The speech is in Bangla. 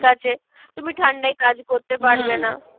আছে, তুমি ঠান্ডায় কাজ করতে পারবে না।